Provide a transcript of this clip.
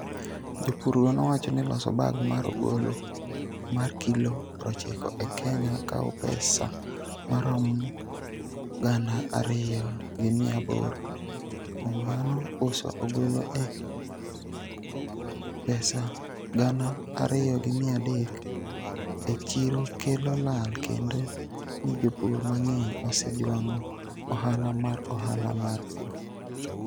Jopurgo nowacho ni loso bag mar ogolo mar kilo 90 e Kenya kawo pesa maromo Sh2,800 kuom mano uso ogolo e Sh2,300 e chiro kelo lal kendo ni jopur mang'eny osejwang'o ohala mar ohala mar pur.